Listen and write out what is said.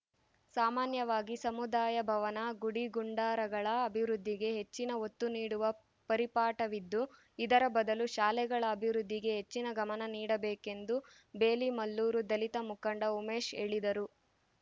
ಸಾಮಾನ್ಯವಾಗಿ ಸಮುದಾಯ ಭವನ ಗುಡಿ ಗುಂಡಾರಗಳ ಅಭಿವೃದ್ಧಿಗೆ ಹೆಚ್ಚಿನ ಒತ್ತು ನೀಡುವ ಪರಿಪಾಠವಿದ್ದು ಇದರ ಬದಲು ಶಾಲೆಗಳ ಅಭಿವೃದ್ಧಿಗೆ ಹೆಚ್ಚಿನ ಗಮನ ನೀಡಬೇಕೆಂದು ಬೇಲಿಮಲ್ಲೂರು ದಲಿತ ಮುಖಂಡ ಉಮೇಶ್‌ ಹೇಳಿದರು